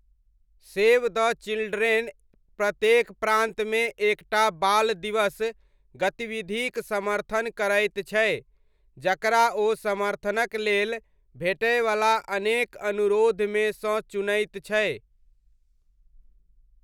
Save the Children प्रत्येक प्रान्तमे एक टा बाल दिवस गतिविधिक समर्थन करैत छै, जकरा ओ समर्थनक लेल भेटयवला अनेक अनुरोधमे सँ चुनैत छै।